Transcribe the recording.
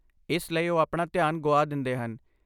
ਇਸ ਲਈ ਉਹ ਆਪਣਾ ਧਿਆਨ ਗੁਆ ਦਿੰਦੇ ਹਨ।